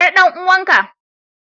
Yar dan uwanka.